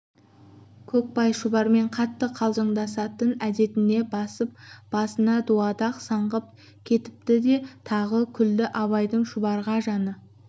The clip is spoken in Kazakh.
көкбай шұбармен қатты қалжыңдасатын әдетіне басып басына дуадақ саңғып кетіпті деп тағы күлді абайдың шұбарға жаны